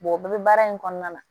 o bɛɛ bɛ baara in kɔnɔna na